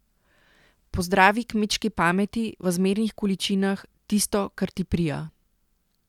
Po zdravi kmečki pameti, v zmernih količinah, tisto, kar ti prija.